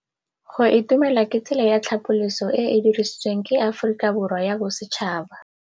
Go itumela ke tsela ya tlhapolisô e e dirisitsweng ke Aforika Borwa ya Bosetšhaba.